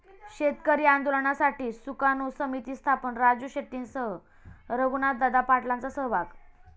शेतकरी आंदोलनासाठी सुकाणू समिती स्थापन, राजू शेट्टींसह रघुनाथदादा पाटलांचा सहभाग